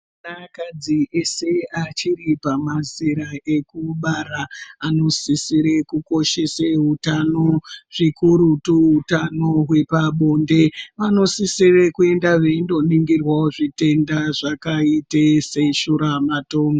Anakadzi ese achiri pamazera ekubara, anosisire kukoshese utano, zvikurutu utano hwepabonde. Vanosisire kuenda veindoningirwawo zvitenda zvakaite seshuramatongo.